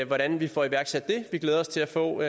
hvordan vi får iværksat det vi glæder os til at få